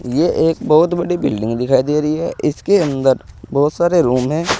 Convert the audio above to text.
ये एक बहुत बड़ी बिल्डिंग दिखाई दे रही है इसके अंदर बहोत सारे रूम है।